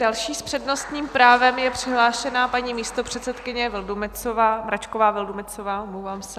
Další s přednostním právem je přihlášena paní místopředsedkyně Vildumetzová, Mračková Vildumetzová, omlouvám se.